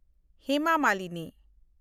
Hema Malini